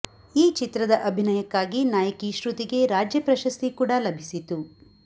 ಈ ಚಿತ್ರದ ಅಭಿನಯಕ್ಕಾಗಿ ನಾಯಕಿ ಶ್ರುತಿಗೆ ರಾಜ್ಯ ಪ್ರಶಸ್ತಿ ಕೂಡ ಲಭಿಸಿತು